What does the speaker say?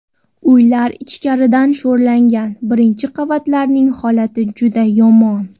Uylar ichkaridan sho‘rlagan, birinchi qavatlarning holati juda yomon.